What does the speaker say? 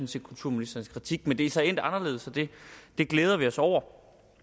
set kulturministerens kritik men det er så endt anderledes og det glæder vi os over